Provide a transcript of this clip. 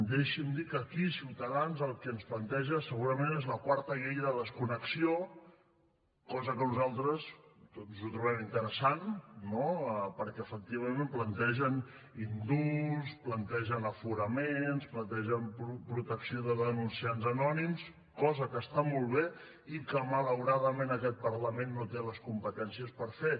deixi’m dir que aquí ciutadans el que ens planteja segurament és la quarta llei de desconnexió cosa que nosaltres doncs ho trobem interessant no perquè efectivament plantegen indults plantegen aforaments plantegen protecció de denunciants anònims cosa que està molt bé i que malauradament aquest parlament no té les competències per fer